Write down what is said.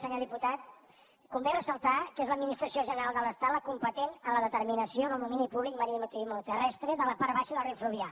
senyor diputat convé ressaltar que és l’administració general de l’estat la competent en la determinació pública maritimoterrestre de la part baixa del riu fluvià